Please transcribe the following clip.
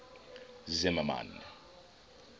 zimmermann